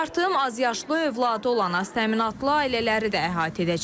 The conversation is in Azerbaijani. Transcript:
Artım azyaşlı övladı olan aztəminatlı ailələri də əhatə edəcək.